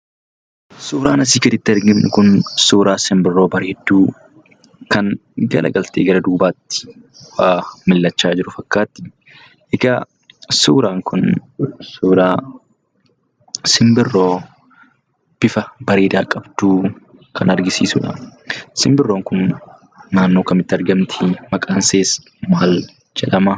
Suuraan asii gaditti arginu kun suuraa simbirroo bareedduu, kan garagaltee gara duubaatti millachaa jirtu fakkaatti. Egaa suuraan kun suuraa simbirroo bifa bareedaa qabdu kan agarsiisuudha. Simbirroon kun naannoo kamitti argamti? Maqaan ishees maal jedhama?